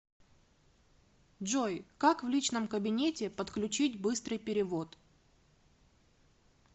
джой как в личном кабинете подключить быстрый перевод